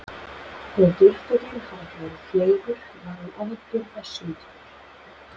Þó að geirfuglinn hafi ekki verið fleygur var hann afburða sundfugl.